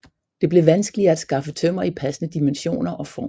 Det blev vanskeligere at skaffe tømmer i passende dimensioner og form